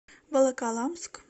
волоколамск